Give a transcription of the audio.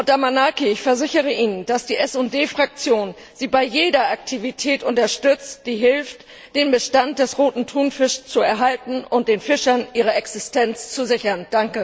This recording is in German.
Frau Damanaki, ich versichere Ihnen, dass die SD Fraktion Sie bei jeder Aktivität unterstützt, die hilft, den Bestand des Roten Thunfischs zu erhalten und den Fischern ihre Existenz zu sichern.